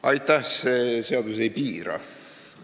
Aitäh!